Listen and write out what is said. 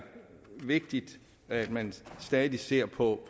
vigtigt at man stadig ser på